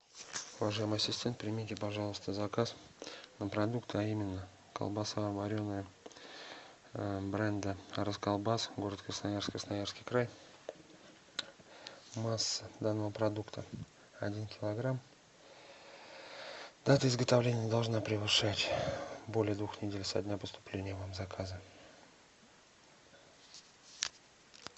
уважаемый ассистент примите пожалуйста заказ на продукты а именно колбаса вареная бренда расколбас город красноярск красноярский край масса данного продукта один килограмм дата изготовления не должна превышать более двух недель со дня поступления вам заказа